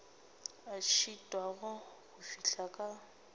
a šitwago go fihla ka